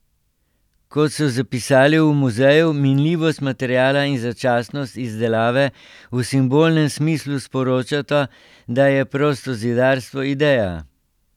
Kot so zapisali v muzeju, minljivost materiala in začasnost izdelave v simbolnem smislu sporočata, da je prostozidarstvo ideja.